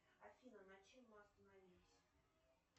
афина на чем мы остановились